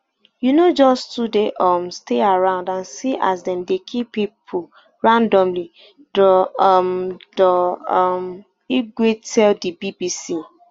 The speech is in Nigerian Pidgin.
you know just to dey um stay around and see as dem dey kill pipo randomly dr um dr um igwe tell di bbc